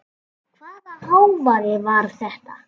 Hvaða hávaði var þetta?